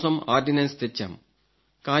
ఇందుకోసం ఆర్డినెన్స్ తెచ్చాం